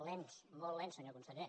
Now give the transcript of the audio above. lents molt lents senyor conseller